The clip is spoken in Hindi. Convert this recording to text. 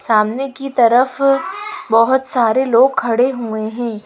सामने की तरफ बहुत सारे लोग खड़े हुएं हैं।